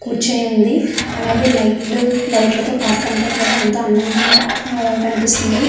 కూర్చుని ఉంది అలాగే లైట్ లు లైట్ ల తో పార్క్ అంత కూడా ఎంతో అందగా కనిపిస్తుంది.